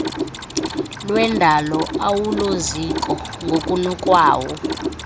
lwendalo awuloziko ngokunokwawo